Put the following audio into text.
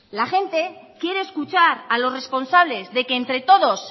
la gente quiere escuchar a los responsables de que entre todos